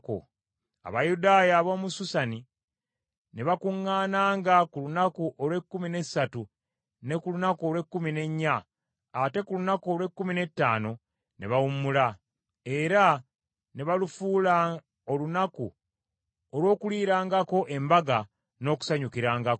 Abayudaaya ab’omu Susani ne bakuŋŋaananga ku lunaku olw’ekkumi n’essatu ne ku lunaku olw’ekkumi n’ennya, ate ku lunaku olw’ekkumi n’ettaano ne bawummula, era ne balufuula olunaku olw’okuliirangako embaga n’okusanyukirangako.